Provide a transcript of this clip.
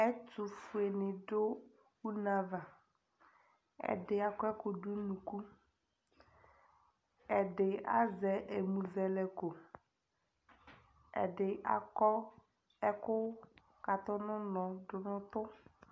Ɛtʋfuenɩ dʋ une ava Ɛdɩ akɔ ɛkʋ dʋ nʋ unuku, ɛdɩ azɛ ɛmʋzɛlɛko, ɛdɩ akɔ ɛkʋkatʋ nʋ ʋnɔ dʋ nʋ ʋtʋ